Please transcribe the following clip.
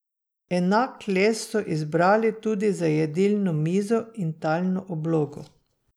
Enak les so izbrali tudi za jedilno mizo in talno oblogo.